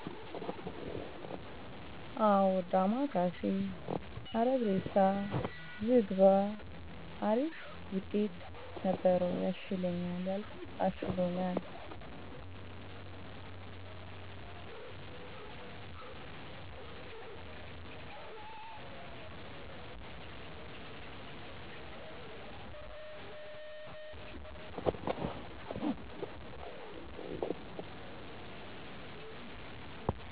አው ዳማከይሲ አረግሴሳ ዝግባ አሪፍ ውጤትነበሪው ያሽለኛል ያልኩት አሽሎኛል